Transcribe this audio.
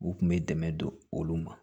U kun bɛ dɛmɛ don olu ma